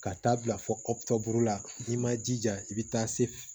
Ka taa bila fɔ la n'i ma jija i bɛ taa se f